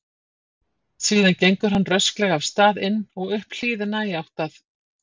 Síðan gengur hann rösklega af stað inn og upp hlíðina í átt að